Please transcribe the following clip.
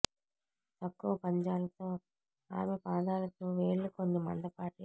తక్కువ పంజాలు తో ఆమె పాదాలకు వేళ్లు కొన్ని మందపాటి